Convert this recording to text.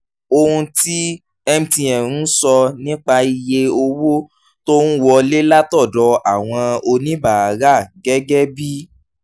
ohun tí mtn ń sọ nípa iye owó tó ń wọlé látọ̀dọ̀ àwọn oníbàárà gẹ́gẹ́ bí